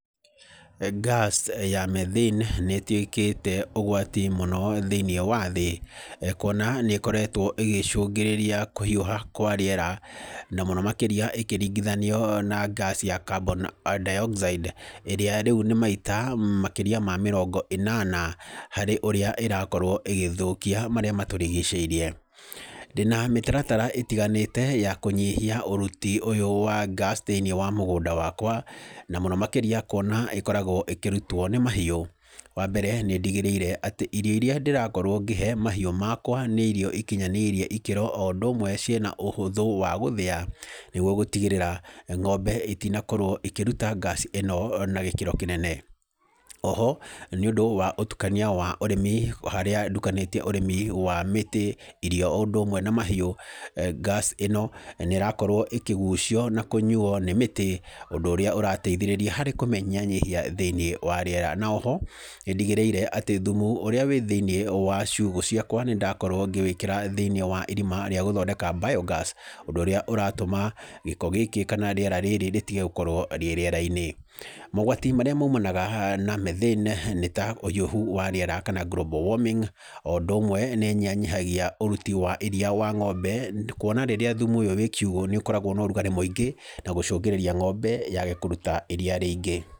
Ngaci ya Methane nĩ ĩtwĩĩkĩte ũgwati mũno thĩinĩ wa thĩ, kuona nĩkoretwo ĩgĩcũngĩrĩria kũhiũha kwa rĩera, na mũno makĩrĩa ĩkĩringithanio na ngaci ya Carbon Dioxide ĩrĩa rĩu nĩ maita makĩria ma mĩrongo ĩnana harĩ ũrĩa ĩrakorwo ĩgĩthũkia marĩa matũrigicĩirie, ndĩna mĩtaratara ĩtiganĩte ya kũnyihia ũruti ũyũ wa ngaci thĩinĩ wa mũgũnda wakwa, na mũno makĩria kuona ĩkoragwo ĩkĩrutwo nĩ mahiũ, wa mbere nĩ ndigĩrĩire atĩ irio iria ndĩrakorwo ngĩhe mahiũ makwa nĩ irio ikinyanĩirie ikĩro, o ũndũ ũmwle cĩna ũhũtho wa gũthĩya, nĩguo gũtigĩrĩra ng'ome itinakorwo ikĩruta ngaci ĩno na gĩkĩro kĩnene, oho, nĩũndũ wa ũtukania wa ũrĩmi, harĩa ndukanĩtie ũrĩmi wa mĩtĩ, irio, o ũndũ ũmwe na mahiũ, ngaci ũno nĩ ĩrakorwo ĩkĩgucio, na kũnyujo nĩ mĩtĩ, ũndũ ũrĩa ũrateithĩrĩria harĩ kũmĩnyihanyihia thĩinĩ wa rĩera, na oho nĩ ndigĩrĩire atĩ mthumu ũrĩa wĩ thĩinĩ wa ciugo ciakwa, nĩ ndakorwo ngĩwĩkĩra thĩinĩ wa irima rĩa gũthondeka bayo ngaci, ũndũ ũrĩa ũratũma gĩko gĩkĩ kana rĩera rĩrĩ rĩtige gũkorwo rĩ rĩera-inĩ, mogwati marĩa maimanaga na Methane, nĩta ũhiũhu wa rĩera, kana Global warming, o ũndũ ũmwe nĩ ĩyihanyihagia ũruti wa iria wa ng'ombe, kuona rĩrĩa thumu ũyũ wĩ kiugo nĩ ũkoragwo na ũrugarĩ mwĩingĩ na gũcũngĩrĩria ng'ombe yage kũruta iria rĩingĩ.